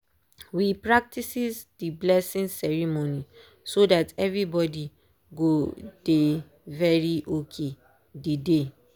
we practices dey blessing ceremony so that everybody go dey very ok dey day.